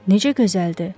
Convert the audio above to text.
Necə gözəldir!